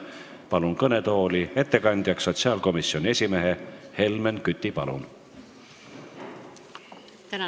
Palun kõnetooli ettekandjaks sotsiaalkomisjoni esimehe Helmen Küti!